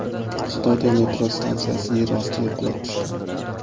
Xitoyda metro stansiyasi yer ostiga qulab tushdi.